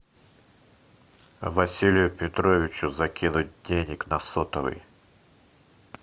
василию петровичу закинуть денег на сотовый